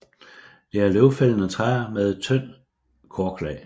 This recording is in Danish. Det er løvfældende træer med et tyndt korklag